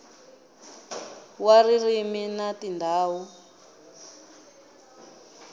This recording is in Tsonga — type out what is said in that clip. wa ririmi na tindhawu ta